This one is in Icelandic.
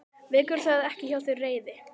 Vekur það ekki hjá þér reiði?